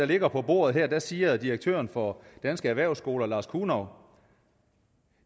ligger på bordet her siger direktøren for danske erhvervsskoler lars kunov